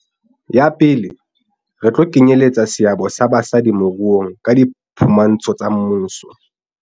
Ya pele, re tlo kenyeletsa seabo sa basadi moruong ka diphu mantsho tsa mmuso.